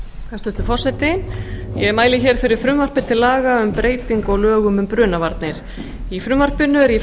hæstvirtur forseti ég mæli hér fyrir frumvarpi til laga um breytingu á lögum um brunavarnir í frumvarpinu eru í